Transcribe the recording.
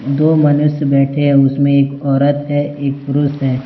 दो मनुष्य बैठे हुए हैं उसमें एक औरत है एक पुरुष है।